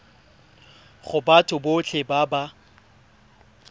go batho botlhe ba ba